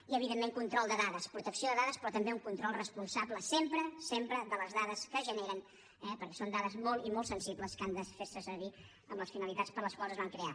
i evidentment control de dades protecció de dades però també un control responsable sempre sempre de les dades que es generen eh perquè són dades molt i molt sensibles que han de fer se servir amb les finalitats per a les quals es van crear